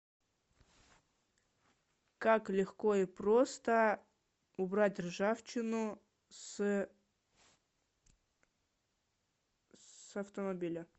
как легко и просто убрать ржавчину с автомобиля